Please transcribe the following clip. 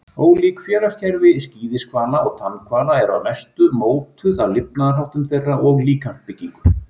Ólík félagskerfi skíðishvala og tannhvala eru að mestu mótuð af lifnaðarháttum þeirra og líkamsbyggingu.